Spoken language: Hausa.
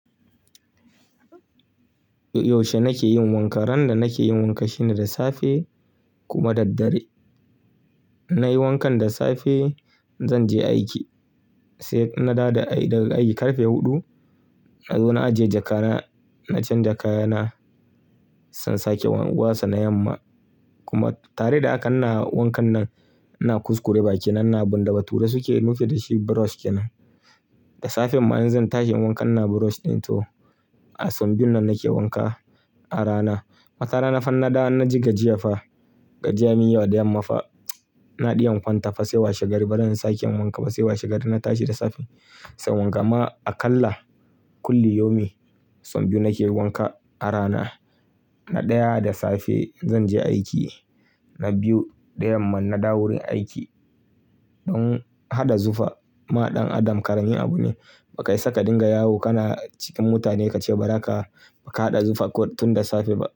Yaushe nake yin wanka? Ran da nake yin wanka shine da safe kuma daddare. In na yi wankan da safe, zan je aiki, sai na dawo daga aiki karfe huɗu. Na zo na ajiye jakana, na canja kayana, sai in sake watsa yamma. Kuma tare da haka ina wankan nan, ina kuskure bakina, ina bin da bature suke nufi da shi brush kenan. Da safen ma in zan tashi inyi wankan ina brush ɗin to. A som biyun nan nake wanka a rana. Wata rana fa in na dawo, in na ji gajiya fa, gajiya me yawa da yamma fa. Inje in kwanta fa sai washe gari bazan sake yin wanka ba sai washe gari na tashi da safe. Sai wanka ma aƙalla kulli yaumi sau biyu nake yin wanka a rana. Na ɗaya da safe zan je aiki, na biyu da yamma in na dawo wurin aiki. Don haɗa zufa ma ɗan adam ƙarami abu ne. Bakai saka dinga yawo kana cikin mutane ka ce ba za ka, ba ka haɗa zufa ko tun da safe ba.